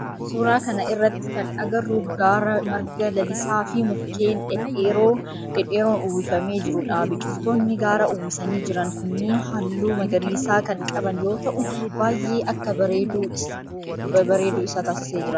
Suuraa kana irratti kan agarru gaara marga lalisaa fi mukkeen dhedheeroon uwwifamee jirudha. Biqiltoonni gaara uwwisanii jiran kunniin halluu magariisa kan qaban yoo ta'u baayyee akka bareeduu isa taasisee jira.